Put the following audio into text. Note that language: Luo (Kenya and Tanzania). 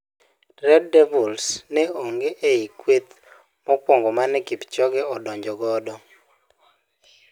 Red devils ne ong'e ei kweth mokuong'o mane Kipchoge odonjo godo.